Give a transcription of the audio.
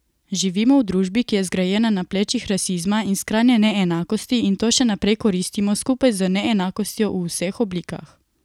Živimo v družbi, ki je zgrajena na plečih rasizma in skrajne neenakosti, in to še naprej koristimo skupaj z neenakostjo v vseh oblikah.